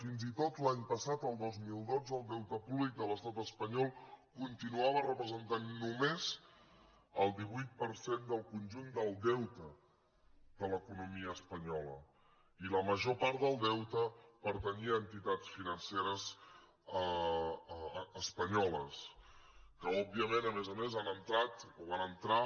fins i tot l’any passat el dos mil dotze el deute públic de l’estat espanyol continuava representant només el divuit per cent del conjunt del deute de l’economia espanyola i la major part del deute pertanyia a entitats financeres espanyoles que òbviament a més a més han entrat o van entrar